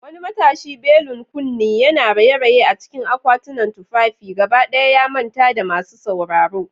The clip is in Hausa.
Wani matashi, belun kunne, yana raye-raye a cikin akwatunan tufafi, gaba ɗaya ba ya manta da masu sauraro.